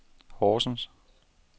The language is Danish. Horsens